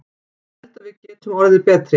Ég held að við getum orðið betri.